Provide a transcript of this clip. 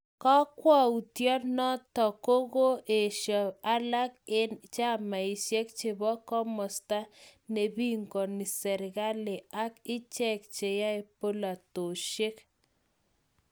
Kokwoutyon noton kokoo esho alak en chamaishek chepo komosto nepingoni serkali ak ichek cheyae polatoshek.